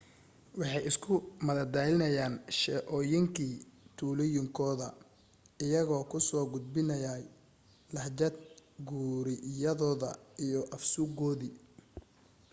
waxay isku madadaalinayeen sheeooyinkii tuulooyinkooda iyagoo ku soo gudbinayay lahjad guriyadooda iyo af suuqoodii